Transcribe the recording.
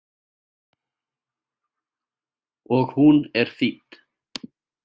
Og hún er þýdd.